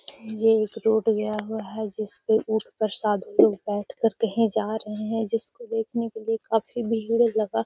ये एक रोड गया हुआ है जिसपे ऊँठ पर साधु लोग बैठ कर कहीं जा रहे हैं जिसको देखने के लिए काफी भीड़ लगा हुआ है।